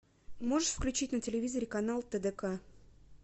можешь включить на телевизоре канал тдк